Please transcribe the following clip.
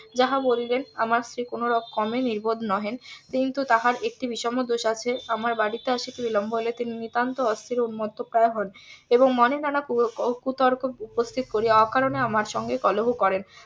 যাহা বলিলেন আমার স্ত্রী কোনো রকমে নির্বোধ নহেন কিন্তু তাহার একটি বিষম দোষ আছে আমার বাড়িতে আসিতে বিলম্ব হইলে তিনি নিতান্ত অস্থির ও . হন এবং মনে নানা কুতর্ক উপস্থিত করিয়া অকারণে আমার সঙ্গে কলহ করেন